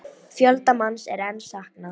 Fjölda manns er enn saknað